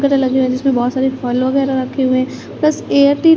रहा है जिसमें बहोत सारे फल वगेरा रखे हुए है बस --